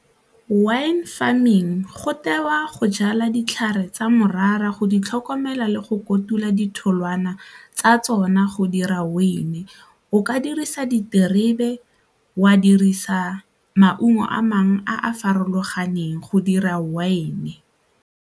Wine farming go tewa go jala ditlhare tsa morara go di tlhokomela le go kotula ditholwana tsa tsona go dira wine, o ka dirisa diterebe, wa dirisa maungo a mangwe a a farologaneng go dira wine.